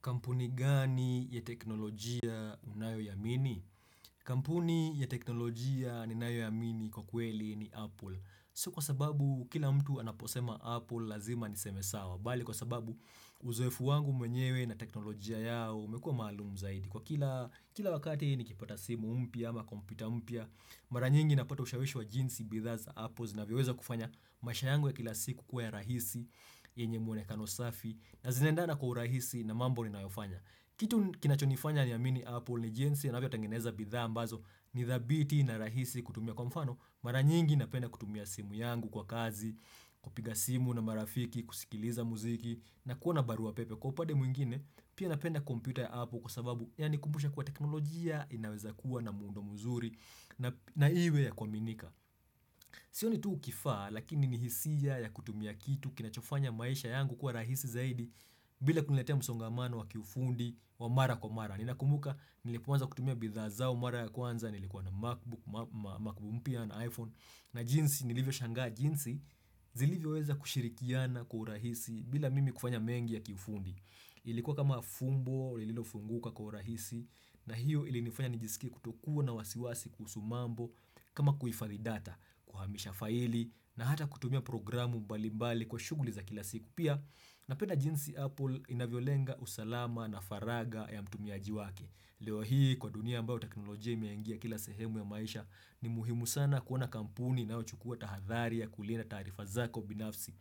Kampuni gani ya teknolojia unayo iamini? Kampuni ya teknolojia ninayo iamini kwa kweli ni Apple. Sio kwa sababu kila mtu anaposema Apple lazima nisemesawa. Bali kwa sababu uzoefu wangu mwenyewe na teknolojia yao umekuwa maalumu zaidi. Kwa kila wakati nikipata simu mpya ama kompyuta mpya, mara nyingi napata ushawishi wa jinsi bidhaa za Apple na zinavyoweza kufanya maisha yangu kila siku kuwa ya rahisi yenye mwone kano safi na zinaendana kwa urahisi na mambo ninayofanya. Kitu kinachonifanya ni amini Apple ni jinsi wanavyo tangeneza bidhaa ambazo ni thabiti na rahisi kutumia kwa mfano, mara nyingi napenda kutumia simu yangu kwa kazi, kupiga simu na marafiki, kusikiliza muziki, na kuona barua pepe. Kwa upade mwingine, pia napenda kompyuta ya Apple kwa sababu, yani kumbusha kwa teknolojia inaweza kuwa na muundo muzuri na iwe ya kwa minika. Sioni ni tu kifaa, lakini ni hisia ya kutumia kitu kinachofanya maisha yangu kuwa rahisi zaidi, bila kuniletea msongamano wa kiufundi wa mara kwa mara. Nina kumbuka nilipoanza kutumia bidhaa zao mara ya kwanza nilikuwa na MacBook, MacBook mpya na iPhone. Na jinsi nilivyo shangaa jinsi zilivyo weza kushirikiana kwa urahisi bila mimi kufanya mengi ya kiufundi. Ilikuwa kama fumbo, lilofunguka kwa urahisi na hiyo ilifanya nijisikie kutokuwa na wasiwasi kuhusu mambo kama kuhifadhi data kuhamisha faili na hata kutumia programu mbali mbali kwa shughuli za kila siku. Pia napenda jinsi Apple inavyo lenga usalama na faraga ya mtumiaji wake. Leo hii kwa dunia ambayo teknolojia imeingia kila sehemu ya maisha ni muhimu sana kuona kampuni inayo chukua tahadhari ya kulinda taarifa zako binafsi.